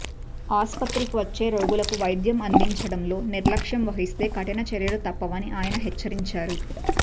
ఆస్పత్రికి వచ్చే రోగులకు వైద్యం అందించడంలో నిర్లక్షం వహిస్తే కఠిన చర్యలు తప్పవని ఆయన హెచ్చరించారు